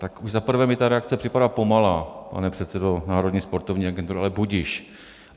Tak už za prvé mi ta reakce připadá pomalá, pane předsedo Národní sportovní agentury, ale budiž.